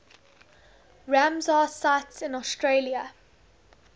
ramsar sites in australia